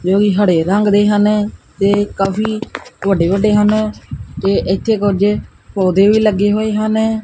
ਤੇ ਉਹ ਵੀ ਹੜੇ ਰੰਗ ਦੇ ਹਨ ਤੇ ਕਾਫੀ ਵੱਡੇ ਵੱਡੇ ਹਨ ਤੇ ਇੱਥੇ ਕੁਝ ਪੌਦੇ ਵੀ ਲੱਗੇ ਹੋਏ ਹਨ।